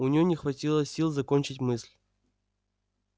у неё не хватило сил закончить мысль